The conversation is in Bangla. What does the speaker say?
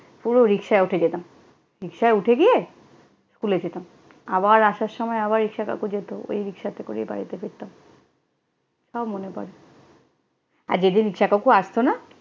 পুরো রিকশায় উঠে যেতাম। রিকশায় উঠে গিয়ে স্কুলে যেতাম। আবার আসার সময় আবার রিকশা কাকু যেত, ওই রিকশা করেই বাড়িতে ফিরতাম। সব মনে পরে। আর যেদিন রিকশা কাকু আসতো না